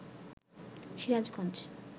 Sirajganj